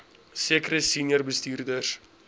sekere senior bestuurders